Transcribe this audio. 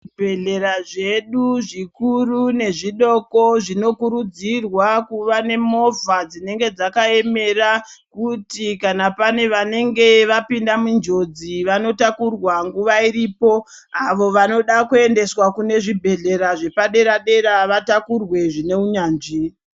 Zvi bhedhlera zvedu zvikuru ne zvidoko zvino kurudzirwa kuva ne movha dzinenge dzaka emera kuti kana pane vanenge vapinda mu njodzi vano takurwa nguva iripo avo vanoda ku endeswa kune zvibhedhlera zvepa dera dera vatakurwe zvine unyanzvi.